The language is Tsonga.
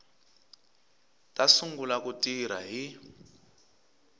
ta sungula ku tirha hi